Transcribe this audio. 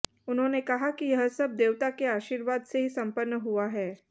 उन्होंने कहा कि यह सब देवता के आशीर्वाद से ही संपन्न हुआ है